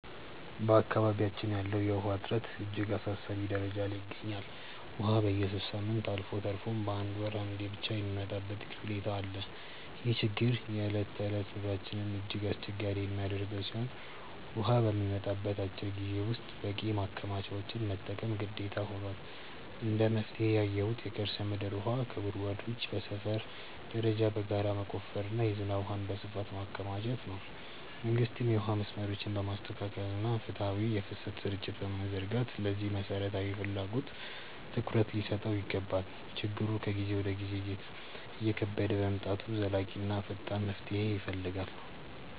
በአካባቢያችን ያለው የውሃ እጥረት እጅግ አሳሳቢ ደረጃ ላይ ይገኛል፤ ውሃ በየሦስት ሳምንቱ አልፎ ተርፎም በአንድ ወር አንዴ ብቻ የሚመጣበት ሁኔታ አለ። ይህ ችግር የዕለት ተዕለት ኑሯችንን እጅግ አስቸጋሪ የሚያደርገው ሲሆን፣ ውሃ በሚመጣበት አጭር ጊዜ ውስጥ በቂ ማከማቻዎችን መጠቀም ግዴታ ሆኗል። እንደ መፍትሄ ያየሁት የከርሰ ምድር ውሃ ጉድጓዶችን በሰፈር ደረጃ በጋራ መቆፈርና የዝናብ ውሃን በስፋት ማከማቸት ነው። መንግስትም የውሃ መስመሮችን በማስተካከልና ፍትሃዊ የፍሰት ስርጭት በመዘርጋት ለዚህ መሠረታዊ ፍላጎት ትኩረት ሊሰጠው ይገባል። ችግሩ ከጊዜ ወደ ጊዜ እየከበደ በመምጣቱ ዘላቂና ፈጣን መፍትሄ ይፈልጋል።